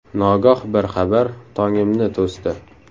Nogoh bir xabar Tongimni to‘sdi.